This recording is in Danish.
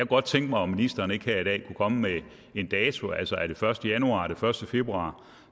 godt tænke mig om ministeren ikke her i dag kunne komme med en dato altså er det første januar er det første februar